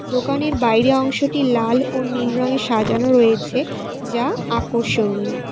দোকানের বাইরে অংশটি লাল ও নীল রংয়ে সাজানো রয়েছে যা আকর্ষণীয়।